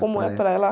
Como é a praia lá?